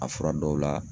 A fura dɔw la